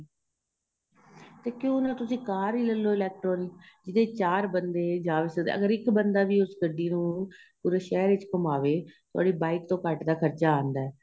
ਤੇ ਕਿਉ ਨਾ ਤੁਸੀਂ ਕਾਰ ਹੀ ਲੇਲੋ electronic ਜਿਹਦੇ ਵਿੱਚ ਚਾਰ ਬੰਦੇ ਜਾਂ ਸਕਣ ਅਗ਼ਰ ਇੱਕ ਬੰਦਾ ਵੀ ਉਸ ਗੱਡੀ ਨੂੰ ਪੂਰੇ ਸ਼ਹਿਰ ਵਿੱਚ ਘੁੱਮਾਵੇ ਉਹਦੇ bike ਤੋ ਘੱਟ ਦਾ ਖਰਚਾ ਆਉਦਾ ਏ